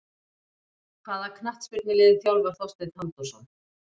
Hvaða knattspyrnulið þjálfar Þorsteinn Halldórsson?